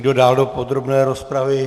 Kdo dál do podrobné rozpravy?